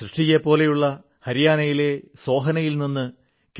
സൃഷ്ടിയെപ്പോലെതന്നെ ഹരിയാനയിലെ സോഹ്നയിൽ നിന്ന് കെ